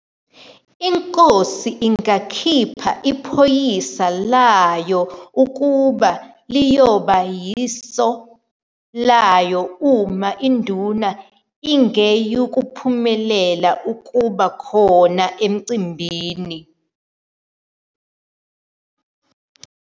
Inkosi ingakhipha iphoyisa layo ukuba liyoba yiso laya uma induna ingeyukuphumelela ukuba khona emcimbini.